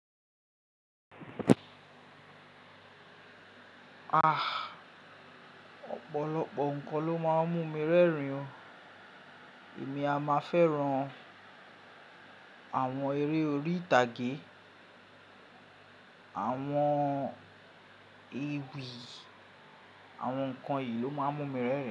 Ah, ọ̀pọ̀lọpọ̀ nǹkan ló máa ń mú mi rẹ́rìn o. Èmi a máa fẹ́ran àwọn eré orí ìtàgé, àwọn ewì, àwọn nǹkan yìí ló máa ń mú mi rẹ́rìn.